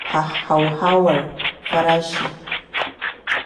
hauhawar farashi.